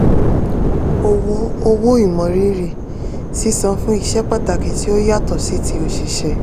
owó owó ìmọrírì: sísan fún iṣẹ́ pàtàkì tí ó yàtọ̀ sí ti òṣìṣẹ́.